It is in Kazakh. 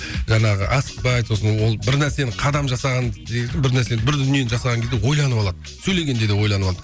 жаңағы асықпайды сосын ол бірнәрсені қадам жасаған кезде бір нәрсені бір дүниені жасаған кезде ойланып алады сөйлегенде де ойланып алады